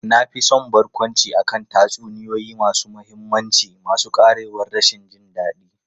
Na fi son barkwanci akan tatsuniyoyi masu mahimmanci masu ƙarewar rashin jin daɗi.